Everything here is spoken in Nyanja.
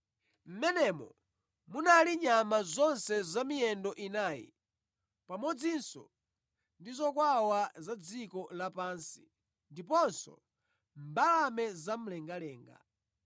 Mʼmenemo munali nyama zonse zamiyendo inayi pamodzinso ndi zokwawa za dziko lapansi ndiponso mbalame zamlengalenga.